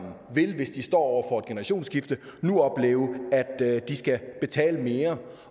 hvis de står over generationsskifte nu opleve at de skal betale mere